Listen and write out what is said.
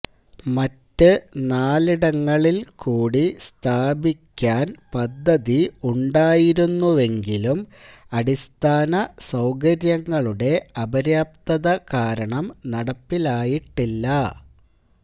മറ്റ് നാലിടങ്ങളില് കൂടി സ്ഥാപിക്കാന് പദ്ധതി ഉണ്ടായിരുന്നുവെങ്കിലും അടിസ്ഥാന സൌകര്യങ്ങളുടെ അപര്യാപ്തത കാരണം നടപ്പിലായിട്ടില്ല